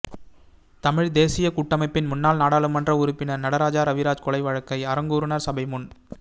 தமிழ்த் தேசியக் கூட்டமைப்பின் முன்னாள் நாடாளுமன்ற உறுப்பினர் நடராஜா ரவிராஜ் கொலை வழக்கை அறங்கூறுநர் சபை முன்